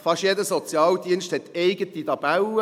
Fast jeder Sozialdienst hat eigene Tabellen.